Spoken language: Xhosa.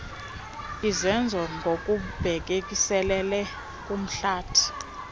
izenzo ngokubhekiselele kumhlathi